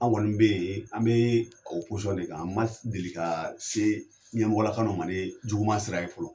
An kɔni be yen an be o posɔn de kan n ma deli ka se ɲɛmɔlakalu ma ni juguma sira ye fɔlɔ